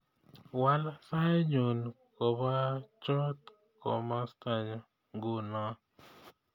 Waal sainyu kobachot komostanyu nguno